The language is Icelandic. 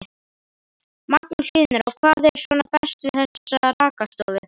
Magnús Hlynur: Og hvað er svona best við þessa rakarastofu?